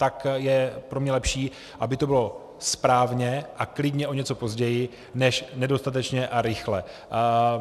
Tak je pro mě lepší, aby to bylo správně a klidně o něco později než nedostatečně a rychle.